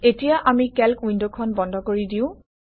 এতিয়া আমি কেল্ক উইণ্ডখন বন্ধ কৰি দিওঁ